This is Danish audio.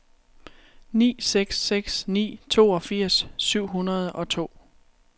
ni seks seks ni toogfirs syv hundrede og to